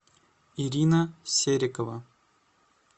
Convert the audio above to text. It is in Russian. ирина серикова